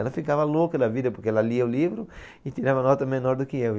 Ela ficava louca da vida porque ela lia o livro e tirava nota menor do que eu.